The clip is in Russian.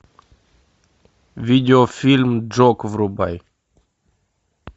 видеофильм джок врубай